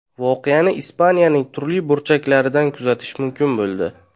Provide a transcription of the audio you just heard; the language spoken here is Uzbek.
Voqeani Ispaniyaning turli burchaklaridan kuzatish mumkin bo‘ldi.